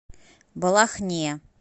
балахне